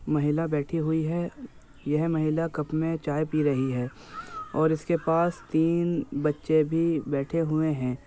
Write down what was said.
महिला बैठी हुई है। ये महिला कप मे चाय पी रही है। और इसके पास तीन बच्चे भी बैठे हुए है ।